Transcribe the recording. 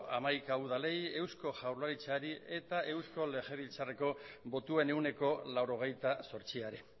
hamaika udalei eusko jaurlaritzari eta eusko legebiltzarreko botoen ehuneko laurogeita zortziari